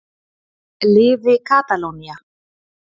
Lifi Katalónía.